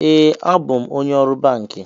Ee, abụ m onye ọrụ banki